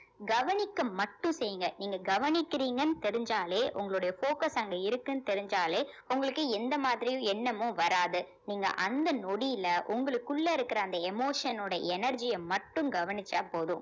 கவனிக்க மட்டும் செய்ங்க நீங்க கவனிக்கிறீங்கன்னு தெரிஞ்சாலே உங்களுடைய focus அங்க இருக்குன்னு தெரிஞ்சாலே உங்களுக்கு எந்த மாதிரியும் எண்ணமும் வராது நீங்க அந்த நொடியில உங்களுக்குள்ள இருக்குற அந்த emotion ஓட energy அ மட்டும் கவனிச்சா போதும்